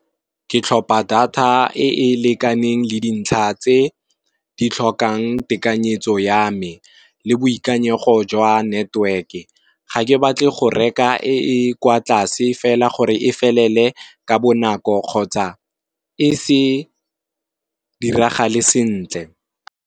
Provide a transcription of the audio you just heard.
Ke tlhopha data e e lekaneng le dintlha tse di tlhokang tekanyetso ya me, le boikanyego jwa network ga ke batle go reka e kwa tlase fela gore e felele ka bonako kgotsa e se diragale sentle.